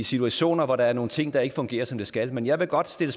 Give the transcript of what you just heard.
situationer hvor der er nogle ting der ikke fungerer som de skal men jeg vil godt stille